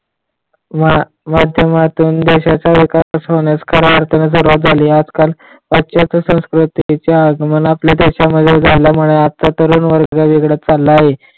माध्यमातून देशाचा विकास होण्यास खऱ्या अर्थाने सुरुवात झाली. आजकाल पछात संस्कृतीच्या आगमन आपल्या देशामध्ये झालामुळे आजचा तरुण वर्ग वेगळाच चालला आहे.